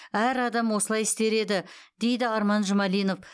әр адам осылай істер еді дейді арман жұмалинов